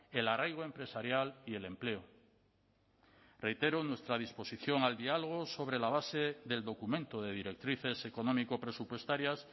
el arraigo empresarial y el empleo reitero nuestra disposición al diálogo sobre la base del documento de directrices económico presupuestarias